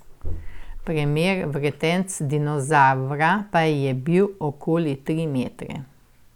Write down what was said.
Premer vretenc dinozavra pa je bil okoli tri metre.